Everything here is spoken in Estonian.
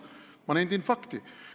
Ma nendin fakti.